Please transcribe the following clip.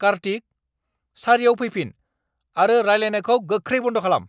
कार्तिक! सारिआव फैफिन आरो रायलायनायखौ गोख्रै बन्द खालाम।